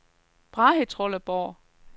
Brahetrolleborg